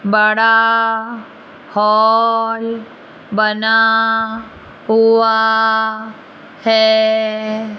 बड़ा हॉल बना हुआ है।